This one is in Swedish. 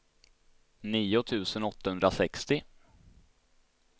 nio tusen åttahundrasextio